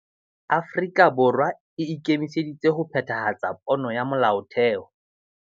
Afrika Borwa e ikemiseditse ho phethahatsa pono ya Molaotheo